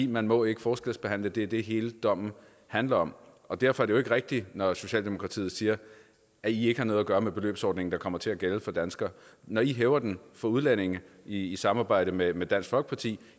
man må ikke forskelsbehandle det er det hele dommen handler om og derfor er det jo ikke rigtigt når socialdemokratiet siger at i ikke har noget gøre med den beløbsordning der kommer til at gælde for danskere når i hæver den for udlændinge i i samarbejde med med dansk folkeparti